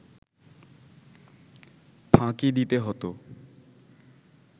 ফাঁকি দিতে হতো